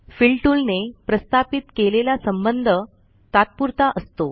fill tool ने प्रस्थापित केलेला संबंध तात्पुरता असतो